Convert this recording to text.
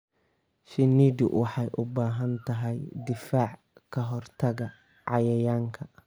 Shinnidu waxay u baahan tahay difaac ka hortagga cayayaanka.